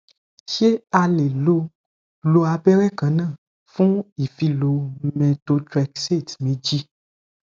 ṣé a lè lo lo abẹrẹ kan náà fún ìfilọ methotrexate méjì